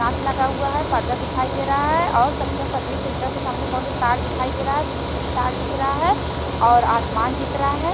सांस लगा हुआ है पर्दा दिखाई दे रहा है और सत्यम पथरी सेंटर के सामने बहुत से तार दिखाई दे रहा है पीछे भी तार दिख रहा है और आसमान दिख रहा है।